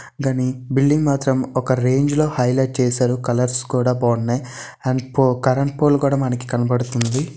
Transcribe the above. గని బిల్డింగ్ మాత్రం ఒక ఆరేంజ్ లో హైలైట్ చేశారు. కలర్స్ కూడా బాగున్నాయి. అండ్ కరెంట్ పోల్ కూడా మనకు కనబడుతోంది .